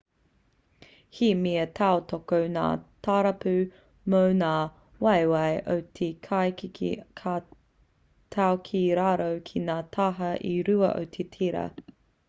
he mea tautoko ngā tarapu mō ngā waewae o te kaieke ka tau ki raro ki ngā taha e rua o te tera